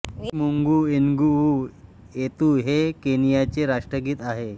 E मुंगू एन्गुवू येतू हे केनियाचे राष्ट्रगीत आहे